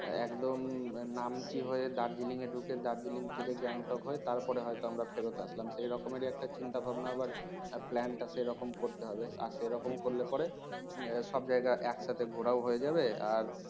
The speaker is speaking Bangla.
একদম Namchi হয়ে darjeeling এ ঢুকে darjeeling থেকে Gangtok হয় তার পরে হয়তো আমরা ফেরত আসলাম সেইরকমের একটা চিন্তাভাবনা আবার plan টা সেরকম করতে হবে আর সে রকম করলে পরে সব জায়গা একসাথে ঘোরাও হয়ে যাবে আর